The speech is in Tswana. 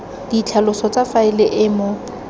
ditlhaloso tsa faele e mo